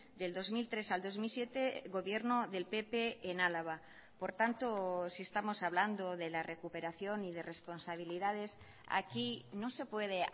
del dos mil tres al dos mil siete gobierno del pp en álava por tanto si estamos hablando de la recuperación y de responsabilidades aquí no se puede